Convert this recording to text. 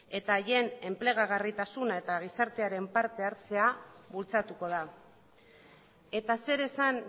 eta haien enplegarritasuna eta gizartearen parte hartzea bultzatuko da eta zer esan